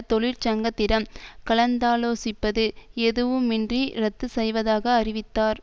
தொழிற்சங்கத்திடம் கலந்தாலோசிப்பது எதுவுமின்றி ரத்து செய்வதாக அறிவித்தார்